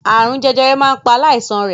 Àrùn jẹjẹrẹ máa ń pa aláìsàn rẹ̀.